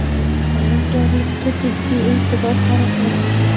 Tayyorgarlikka jiddiy e’tibor qaratamiz.